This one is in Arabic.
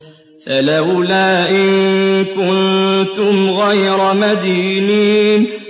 فَلَوْلَا إِن كُنتُمْ غَيْرَ مَدِينِينَ